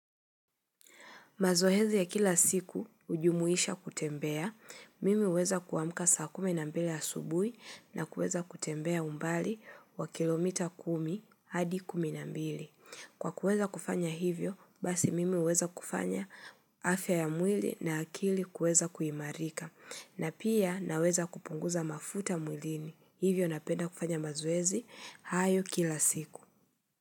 Mazohezi ya kila siku hujumuisha kutembea, mimi huweza kuamuka saa kumi na mbili ya asubui na kueza kutembea umbali wa kilomita kumi hadi kumi na mbili. Kwa kueza kufanya hivyo, basi mimi weza kufanya afya ya mwili na akili kueza kuimarika na pia naweza kupunguza mafuta mwilini. Hivyo napenda kufanya mazoezi hayo kila siku.